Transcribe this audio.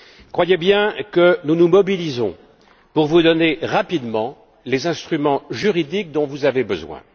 Croyez bien que nous nous mobilisons pour vous donner rapidement les instruments juridiques dont vous avez besoin.